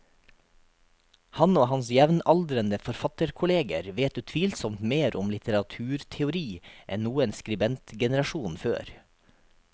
Han og hans jevnaldrende forfatterkolleger vet utvilsomt mer om litteraturteori enn noen skribentgenerasjon før.